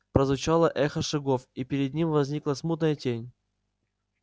прозвучало эхо шагов и перед ним возникла смутная тень